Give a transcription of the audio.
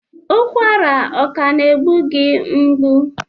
Ụkwara ọ ka na-egbu gị mgbu?